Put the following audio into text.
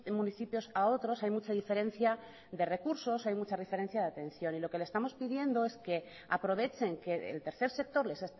municipios a otros hay mucha diferencia de recursos hay mucha diferencia de atención y lo que le estamos pidiendo es que aprovechen que el tercer sector les